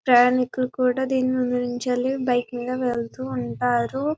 ప్రయాణికులు కూడా దీనిని ఉపయోగించాలి బైక్ మీద వెళ్తుంటారు --.